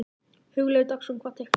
Hugleikur Dagsson: Hvað teikna ég?